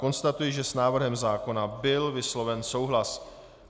Konstatuji, že s návrhem zákona byl vysloven souhlas.